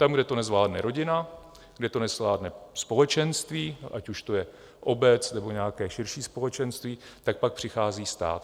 Tam, kde to nezvládne rodina, kde to nezvládne společenství, ať už to je obec, nebo nějaké širší společenství, tak pak přichází stát.